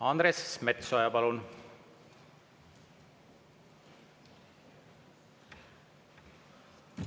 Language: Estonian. Andres Metsoja, palun!